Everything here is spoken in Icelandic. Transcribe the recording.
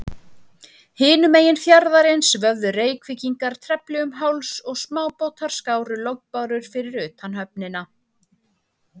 Hinum megin fjarðarins vöfðu Reykvíkingar trefli um háls, og smábátar skáru lognbárur fyrir utan höfnina.